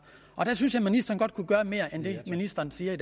der synes jeg at ministeren godt kunne gøre mere end det ministeren siger